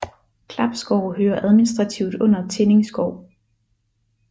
Klapskov hører administrativt under Tinning skov